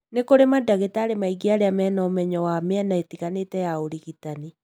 Nĩ kũrĩ mandagĩtarĩ maingĩ arĩa mena ũmenyo wa mĩena ĩtiganĩte ya ũrigitani,